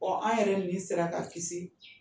Ɔ an yɛrɛ nin sera ka kisi